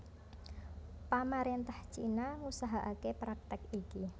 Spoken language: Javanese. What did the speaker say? Pamarentah Cina ngusahakake praktik iki